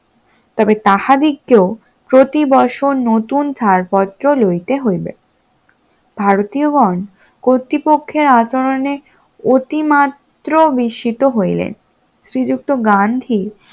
তবে তাহাদিগকে প্রতি বছর নতুন ছাড়পত্র লইতে হইবে, ভারতীয় গন কর্তৃপক্ষের আচরণে অতিমাত্র বিস্মিত হইলেন, শ্রীযুক্ত গান্ধী